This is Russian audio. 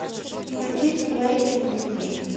включить плэйинвитми